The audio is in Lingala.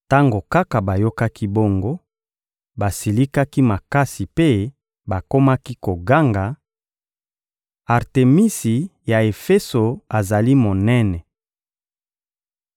Tango kaka bayokaki bongo, basilikaki makasi mpe bakomaki koganga: — Artemisi ya Efeso azali monene!